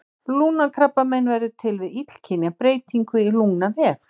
Lungnakrabbamein verður til við illkynja breytingu í lungnavef.